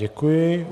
Děkuji.